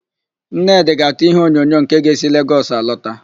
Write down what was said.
Nnedị ga-àtụ́ íhéonyonyo nke ga-esi Legọs alọta.